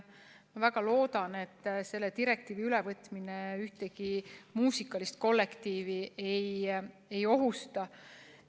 Ma väga loodan, et selle direktiivi ülevõtmine ühtegi muusikalist kollektiivi ei ohusta.